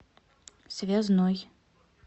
связной